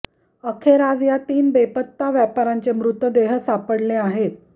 अखेर आज या तीन बेपत्ता व्यापाऱ्यांचे मृतदेह सापडले आहेत